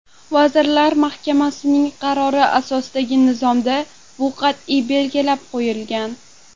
Vazirlar Mahkamasining qarori asosidagi nizomda bu qat’iy belgilab qo‘yilgan.